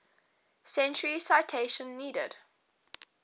century citation needed